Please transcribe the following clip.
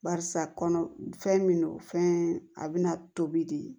Barisa kɔnɔ fɛn min do fɛn a bɛna tobi de